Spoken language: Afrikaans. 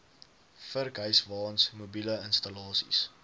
vurkhyswaens mobiele installasies